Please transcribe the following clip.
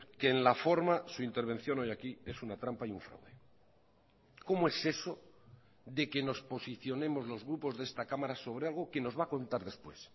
que en la forma su intervención hoy aquí es una trampa y un fraude cómo es eso de que nos posicionemos los grupos de esta cámara sobre algo que nos va a contar después